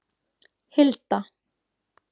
Hilda